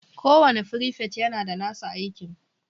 kowane frifet yana da nasa aikin